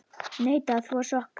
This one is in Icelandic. Neita að þvo sokka.